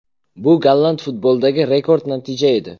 Bu golland futbolidagi rekord natija edi.